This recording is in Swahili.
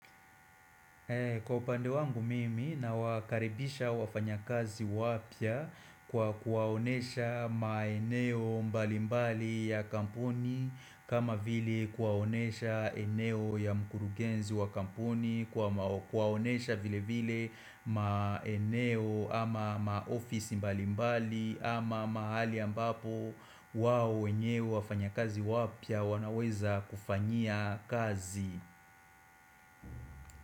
Kwa upande wangu mimi nawakarebisha wafanyakazi wapya kwa kuwaonyesha maeneo mbali mbali ya kampuni kama vile kuwaonyesha eneo ya mkurugenzi wa kampuni Kuwaonesha vile vile maeneo ama maofisi mbali mbali ama mahali ambapo wao wenyewe wafanyakazi wapya wanaweza kufanyia kazi.